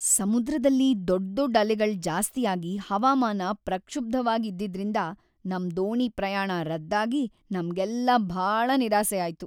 ಸಮುದ್ರದಲ್ಲಿ ದೊಡ್ದೊಡ್ ಅಲೆಗಳ್ ಜಾಸ್ತಿಯಾಗಿ‌ ಹವಾಮಾನ ಪ್ರಕ್ಷುಬ್ಧವಾಗ್‌ ಇದ್ದಿದ್ರಿಂದ ನಮ್ ದೋಣಿ ಪ್ರಯಾಣ ರದ್ದಾಗಿ ನಮ್ಗೆಲ್ಲ ಭಾಳ ನಿರಾಸೆ ಆಯ್ತು.